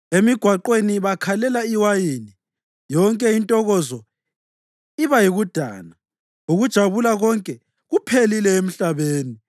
Emigwaqweni bakhalela iwayini, yonke intokozo iba yikudana, ukujabula konke kuphelile emhlabeni.